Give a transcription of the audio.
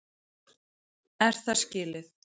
Er það skilið?!